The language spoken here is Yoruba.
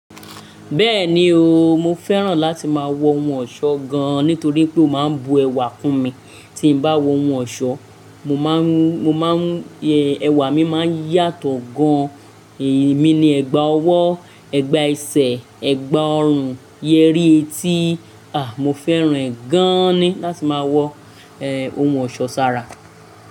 Bẹ́ẹ̀ni o, mo fẹ́ràn láti máa wọ ohun ọ̀ṣọ́ gan-an nítorí pé ó máa ń bu ẹwà kún mi. Tí n bá wọ ohun ọ̀ṣọ́, ẹwà mi máa ń yàtọ̀ gan-an. Ẹ̀mi ni ẹ̀gbà ọwọ́, ẹ̀gbà ẹsẹ̀, ẹ̀gbà ọrùn, yérí etí. À, mo fẹ́ràn e gan-an ni láti máa wọ ohun ọ̀ṣọ́ sára.